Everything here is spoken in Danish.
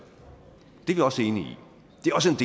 det er vi også enige